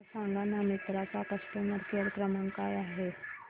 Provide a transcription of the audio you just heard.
मला सांगाना मिंत्रा चा कस्टमर केअर क्रमांक काय आहे